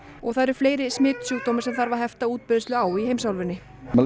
og það eru fleiri smitsjúkdómar sem þarf að hefta útbreiðslu á í heimsálfunni